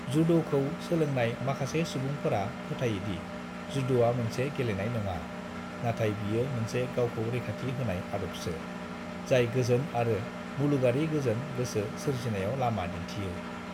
"जुद'खौ सोलोंनाय माखासे सुबुंफोरा फोथायोदि जुद'आ मोनसे गेलेनाय नङा, नाथाय बियो मोनसे गावखौ रैखाथि होनाय आदबसो, जाय गोजोन आरो मुलुगारि गोजोन गोसो सोरजिनायाव लामा दिन्थियो।"